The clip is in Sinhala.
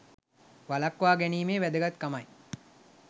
වළක්වා ගැනීමේ වැදගත්කමයි